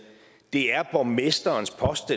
det er borgmesterens post